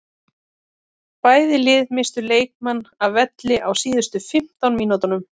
Bæði lið misstu leikmann af velli á síðustu fimmtán mínútunum.